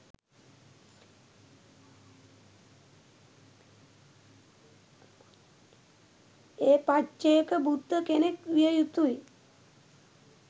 ඒ පච්චේක බුද්ධ කෙනෙක් විය යුතුයි.